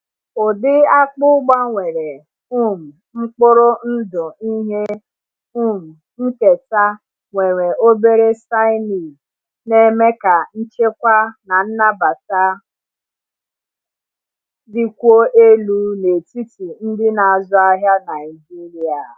Ụdị akpụ gbanwere um mkpụrụ ndụ ihe um nketa nwere obere cyanide na-eme ka nchekwa na nnabata dịkwuo elu n’etiti ndị na-azụ ahịa Naijiria.